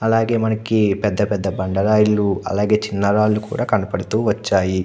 అలాగే మనకి పెద్ద పెద్ద బండారాల్లో చిన్న చిన్న బండరాళ్లు కనబడుతూ వచ్చాయి.